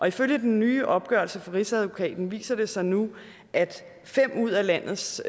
ifølge den nye opgørelse fra rigsadvokaten viser det sig nu at fem ud af landets